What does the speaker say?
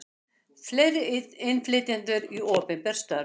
Fleiri innflytjendur í opinber störf